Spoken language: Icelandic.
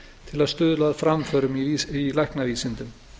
til að stuðla að framförum í læknavísindum